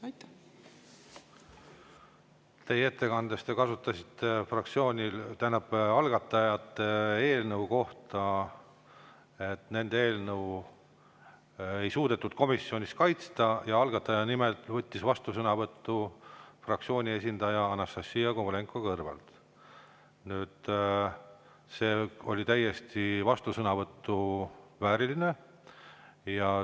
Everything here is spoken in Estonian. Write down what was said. Oma ettekandes te algatajate eelnõu kohta, et nende eelnõu ei suudetud komisjonis kaitsta, algatajate nimel vastusõnavõtu fraktsiooni esindaja Anastassia Kovalenko-Kõlvart ja see oli täiesti vastusõnavõtu vääriline.